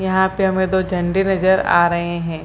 यहां पे हमें दो झंडे नजर आ रहे हैं।